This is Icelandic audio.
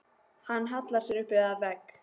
Hann hallar sér upp að vegg.